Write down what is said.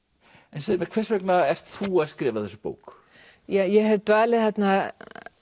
en hvers vegna ert þú að skrifa þessa bók ég hef dvalið þarna